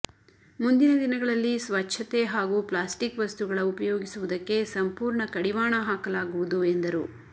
ಮುಂದಿನ ದಿನಗಳಲ್ಲಿ ಸ್ವಚ್ಛತೆ ಹಾಗೂ ಪ್ಲಾಸ್ಟಿಕ್ ವಸ್ತುಗಳ ಉಪಯೋಗಿಸುವುದಕ್ಕೆ ಸಂಪೂರ್ಣ ಕಡಿವಾಣ ಹಾಕಲಾಗುವುದು ಎಂದರು